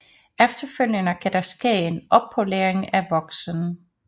Efterfølgende kan der ske en oppolering af voksen